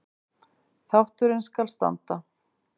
Þátturinn skal standa